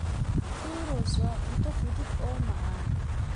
Churros waa cunto fudud oo macaan.